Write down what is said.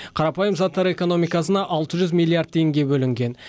қарапайым заттар экономикасына алты жүз миллиард теңге бөлінген